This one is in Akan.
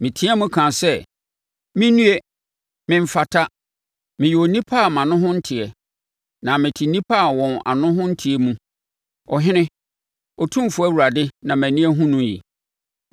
Meteam kaa sɛ, “Me nnue! Memfata! Meyɛ onipa a mʼano ho nteɛ, na mete nnipa a wɔn ano ho nteɛ mu, Ɔhene, Otumfoɔ Awurade na mʼani ahunu no yi.”